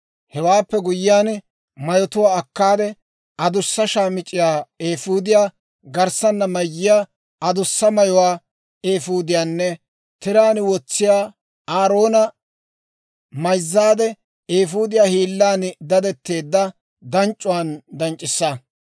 Hewaappe guyyiyaan mayotuwaa akkaade, adussa shaamic'c'iyaa, eefuudiyaa garssana mayiyaa adussa mayuwaa, eefuudiyaanne tiraan wotsiyaawaa Aaroona mayzzaade eefuudiyaa hiillan dadetteedda danc'c'uwaan danc'c'issa.